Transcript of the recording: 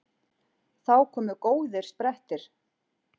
Þá komu góðir sprettir.